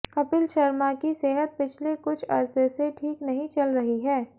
कपिल शर्मा की सेहत पिछले कुछ अर्से से ठीक नहीं चल रही है